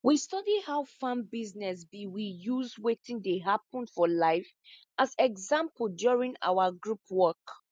we study how farm business be we use watin dey happen for life as example during our group work